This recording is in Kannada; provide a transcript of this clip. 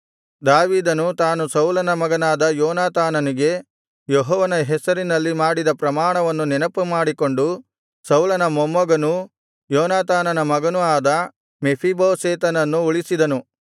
ದಾವೀದನು ತಾನು ಸೌಲನ ಮಗನಾದ ಯೋನಾತಾನನಿಗೆ ಯೆಹೋವನ ಹೆಸರಿನಲ್ಲಿ ಮಾಡಿದ ಪ್ರಮಾಣವನ್ನು ನೆನಪುಮಾಡಿಕೊಂಡು ಸೌಲನ ಮೊಮ್ಮಗನೂ ಯೋನಾತಾನನ ಮಗನೂ ಆದ ಮೆಫೀಬೋಶೆತನನ್ನು ಉಳಿಸಿದನು